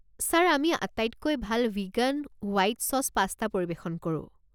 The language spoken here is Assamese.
ছাৰ, আমি আটাইতকৈ ভাল ভিগান হোৱাইট ছচ পাষ্টা পৰিৱেশন কৰোঁ।